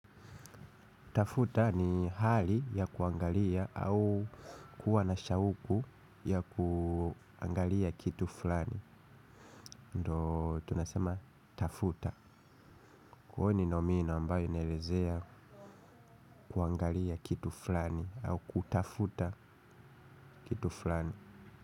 Tafuta ni hali ya kuangalia au kuwa na shauku ya kuangalia kitu fulani. Ndiyo tunasema "tafuta". Kuwa ni nomino inayoelezea kuangalia kitu fulani au kutafuta kitu fulani.